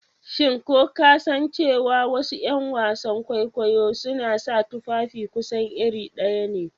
Shin ko ka san cewa wasu ’yan wasan kwaikwayo suna sa tufafi kusan iri ɗaya ne?